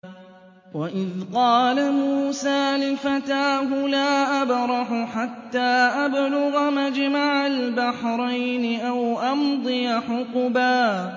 وَإِذْ قَالَ مُوسَىٰ لِفَتَاهُ لَا أَبْرَحُ حَتَّىٰ أَبْلُغَ مَجْمَعَ الْبَحْرَيْنِ أَوْ أَمْضِيَ حُقُبًا